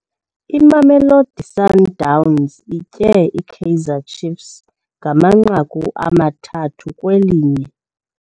Imamelodi Sundowns itye iKaizer Ciefs ngamanqaku amathathu kwelinye.